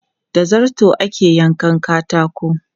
Da zarto ake yankan katako.